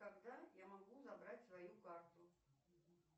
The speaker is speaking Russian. когда я могу забрать свою карту